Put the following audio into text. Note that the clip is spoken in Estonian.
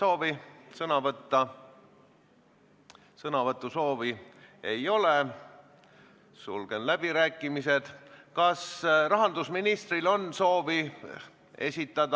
Ettepanek katkestada eelnõu 47 teine lugemine on tagasi lükatud ja eelnõu teine lugemine on lõppenud.